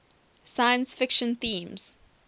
science fiction themes